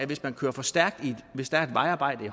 hvis man kører for stærkt ved et vejarbejde